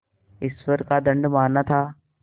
ईश्वर का दंड माना था